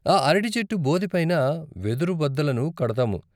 ఆ అరటి చెట్టు బోదెపైన వెదురుబద్దలను కడతాము.